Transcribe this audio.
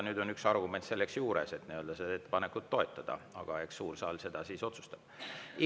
Nüüd on üks argument selleks juures, et seda ettepanekut toetada, aga eks suur saal siis otsustab seda.